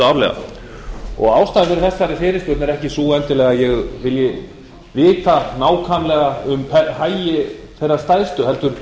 árlega ástæðan fyrir þessari fyrirspurn er ekki sú endilega að ég vilji vita nákvæmlega um hagi þeirra stærstu heldur